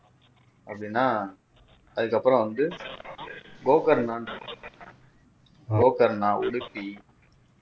அப்படின்னா அதுக்கப்புறம் வந்து கோகர்ணான்னு இருக்கும் கோகர்ணா உடுக்கி